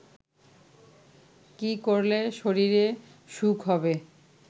কী করলে শরীরে সুখ হবে